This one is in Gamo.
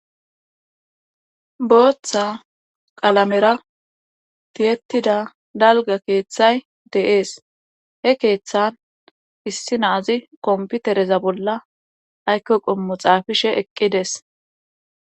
booththa qalamera tiyettida dalga keeththay deees he keeththan issi naazi komputereza bolla ayko qommo xaafishe eqqides